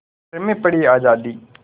खतरे में पड़ी आज़ादी